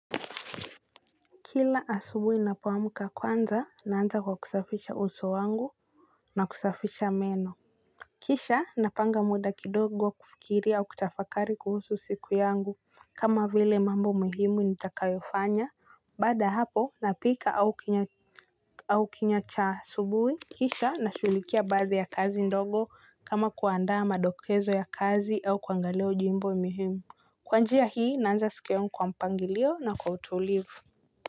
Kila asubuhi napoamka kwanza naanza kwa kusafisha uso wangu na kusafisha meno. Kisha napanga muda kidogo wa kufikiria au kutafakari kuhusu siku yangu kama vile mambo muhimu nitakayofanya baada ya hapo napika au kinywa cha asubuhi. Kisha nashughulikia baadhi ya kazi ndogo kama kuandaa madokezo ya kazi au kuangalia ujumbe muhimu. Kwa njia hii naanza siku yangu kwa mpangilio na kwa utulivu.